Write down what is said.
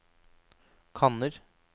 kanner